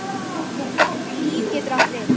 Líf getur átt við